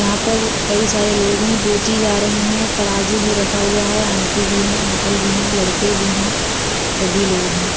यहाँ पर कई सारे लोग हैं। बेची जा रही है। तराजू भी रखा हुआ है। आंटी भी है। अंकल भी है। लड़के भी हैं। सभी लोग हैं।